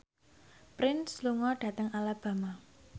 Prince lunga dhateng Alabama